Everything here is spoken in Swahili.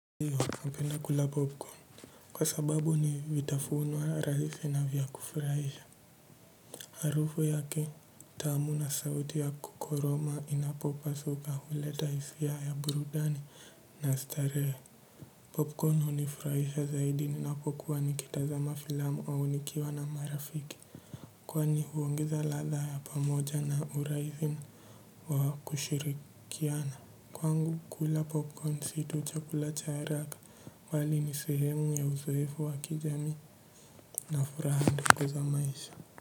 Kwa sababu ni vitafunwa rahisi na vya kufuraisha. Harufu yake, tamu na sauti ya kukoroma inapo pasuka huleta hisia ya ya burudani na starehe Popcorn unifuraisha zaidi ninapokuwa nikitazama filamu au nikiwa na marafiki. Kwani huongeza latha ya pamoja na urahisi wa kushirikiana. Kwangu kula popcorn situ chakula cha haraka bali nisehemu ya uzoefu wa kijamii na furaha ndiko za maisha.